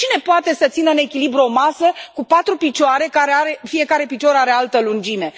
Cine poate să țină în echilibru o masă cu patru picioare care are fiecare picior de altă lungime.